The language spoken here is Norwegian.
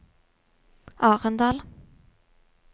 Arendal